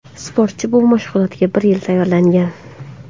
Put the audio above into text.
Sportchi bu mashg‘ulotga bir yil tayyorlangan.